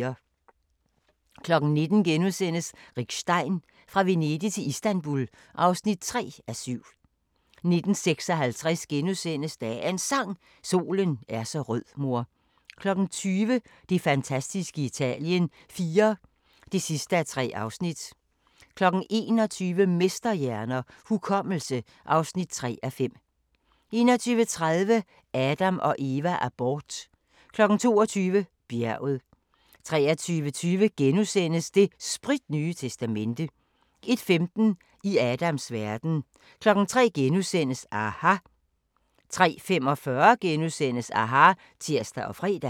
19:00: Rick Stein: Fra Venedig til Istanbul (3:7)* 19:56: Dagens Sang: Solen er så rød mor * 20:00: Det fantastiske Italien IV (3:3) 21:00: Mesterhjerner – Hukommelse (3:5) 21:30: Adam & Eva: Abort 22:00: Bjerget 23:20: Det spritnye testamente * 01:15: I Adams verden 03:00: aHA! * 03:45: aHA! *(tir og fre)